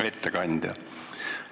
Hea ettekandja!